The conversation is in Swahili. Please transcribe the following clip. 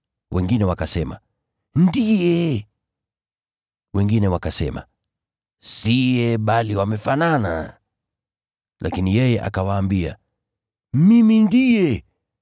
Wengine wakasema, “Ndiye.” Wengine wakasema, “Siye, bali wamefanana.” Lakini yeye akawaambia, “Mimi ndiye.”